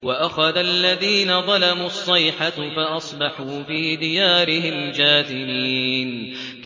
وَأَخَذَ الَّذِينَ ظَلَمُوا الصَّيْحَةُ فَأَصْبَحُوا فِي دِيَارِهِمْ جَاثِمِينَ